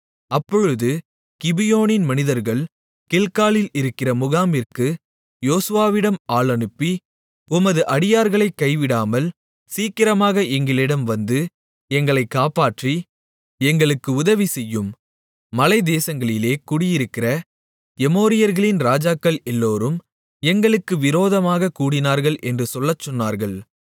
அப்பொழுது கிபியோனின் மனிதர்கள் கில்காலில் இருக்கிற முகாமிற்கு யோசுவாவிடம் ஆள் அனுப்பி உமது அடியார்களைக் கைவிடாமல் சீக்கிரமாக எங்களிடம் வந்து எங்களைக் காப்பாற்றி எங்களுக்கு உதவிசெய்யும் மலை தேசங்களிலே குடியிருக்கிற எமோரியர்களின் ராஜாக்கள் எல்லோரும் எங்களுக்கு விரோதமாகக் கூடினார்கள் என்று சொல்லச் சொன்னார்கள்